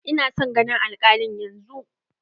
Ina son ganin alkalin yanzun!